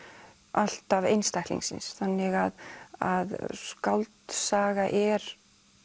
alltaf einstaklingsins þannig að skáldsaga er